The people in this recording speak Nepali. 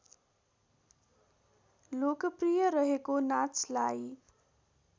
लोकप्रिय रहेको नाचलाई